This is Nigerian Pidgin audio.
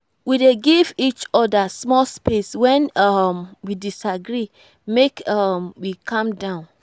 we dey give each oda small space wen um we disagree make um we calm down.